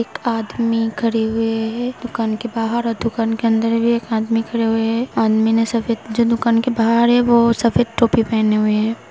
एक आदमी खरे हुए है दुकान के बाहर औ दुकान के अंदर भी एक आदमी खरे हुए है। आदमी ने सफेद जो दुकान के बाहर है वो सफेद टोपी पहने हुए है।